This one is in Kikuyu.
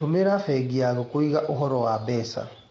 Tũmĩra bengi yaku kũgĩa ũhoro wa mbeca.